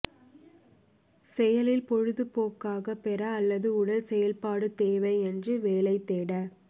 செயலில் பொழுதுபோக்காக பெற அல்லது உடல் செயல்பாடு தேவை என்று வேலை தேட